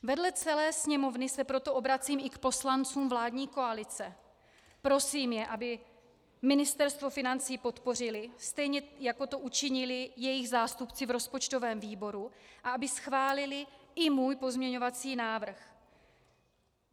Vedle celé Sněmovny se proto obracím i k poslancům vládní koalice, prosím je, aby Ministerstvo financí podpořili, stejně jako to učinili jejich zástupci v rozpočtovém výboru, a aby schválili i můj pozměňovací návrh.